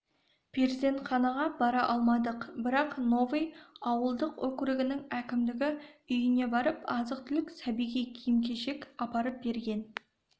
перзентханаға бара алмадық бірақ новый ауылдық округінің әкімдігі үйіне барып азық-түлік сәбиге киім-кешек апарып берген